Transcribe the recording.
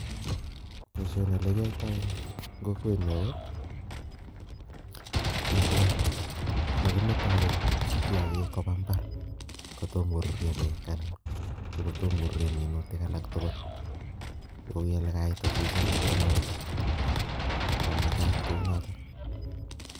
Boishoni ole kiyoitoy ko kenyor netai mokimeto kiagik Koba mbar kotom koruryo beg Alan kotom koruryo minutik tugul Kou elikiyaita choso mamakat Kou noton.